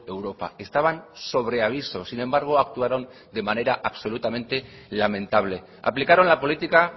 europa estaban sobre aviso sin embargo actuaron de manera absolutamente lamentable aplicaron la política